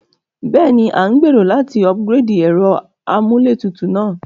Béèni, a n gbèrò láti upgrade ẹ́ro amúlétutù náà